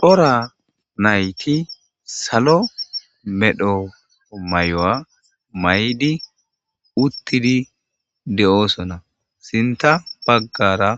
Cora nayti sallo medhdho maayo mayidi uutiddi de'ossona sinththa baggara